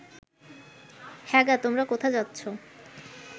হ্যাঁ গা তোমরা কোথা যাচ্ছ